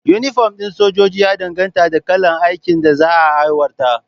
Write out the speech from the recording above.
Inifom ɗin sojoji ya danganta da kalar aikin da za a aiwatar